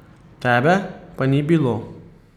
Tebe pa ni bilo.